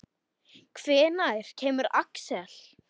Hvenær kemur Axel?